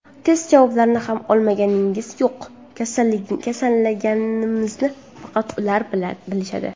Test javoblarini ham olganimiz yo‘q, kasallanganimizni faqat ular bilishadi.